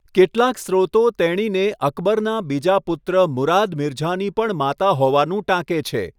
કેટલાક સ્ત્રોતો તેણીને અકબરનાં બીજા પુત્ર મુરાદ મિર્ઝાની પણ માતા હોવાનું ટાંકે છે.